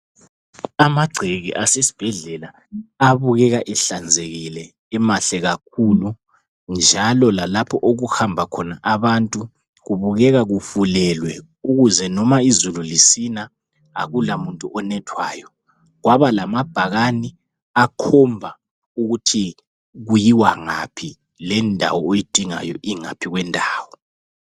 Amangceke asesibhedlela abukeka ehlanzekile emahle kakhulu njalo lalapho okuhamba khona abantu kubukeka kufulelwe ukuze noma izilu lisina akulamuntu onethwayo kwabalabhakani akakhomba ukuthi kuyiywa ngaphi akhomba lokuthi lendawo oyidingayo ingaphi